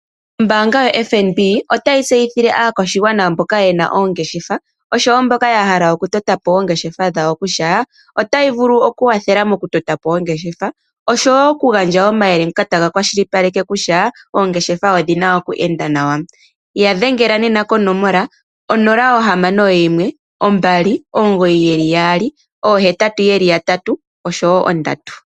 Ombaanga yo FNB otayi tseyithile aakwashigwana mboka yena oongeshefa, oshowo mboka yahala oku totapo oongeshefa dhawo, otayi vulu okuwathela moku totapo ongeshefa na otai kwashilipaleke kutya oongeshefa odhina oku enda nawa ,ya dhengela nena konomola 061 2998883